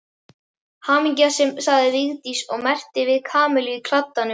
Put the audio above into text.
Hamingja sagði Vigdís og merkti við Kamillu í kladdanum.